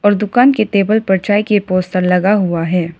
और दुकान के टेबल पर चाय के पोस्टर लगा हुआ है।